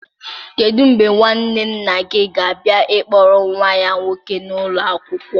Kedu mgbe nwanne nna gị ga-abịa ịkpọrọ nwa ya nwoke n'ụlọ akwụkwọ